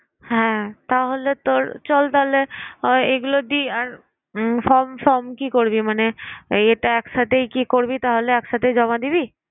হ্যাঁ তাহলে তোর চল তাহলে এগুলো দিই আর form form কি করবি? মানে এই এটা একসাথেই কি করবি তাহলে? এক সাথেই জমা দিবি?